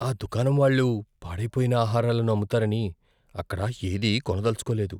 ఆ దుకాణం వాళ్ళు పాడైపోయిన ఆహారాలను అమ్ముతారని అక్కడ ఏదీ కొనదలచుకోలేదు.